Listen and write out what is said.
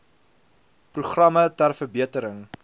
programme ter verbetering